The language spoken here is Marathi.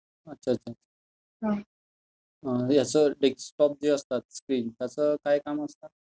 अच्छा अच्छा. हे जे डेस्कटॉप जे असतात, स्क्रीन, त्याचं काय काम असतं?